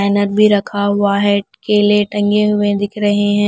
भी रखा हुआ है केले टंगे हुए दिख रहे हैं।